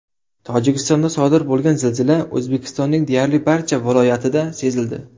Tojikistonda sodir bo‘lgan zilzila O‘zbekistonning deyarli barcha viloyatida sezildi.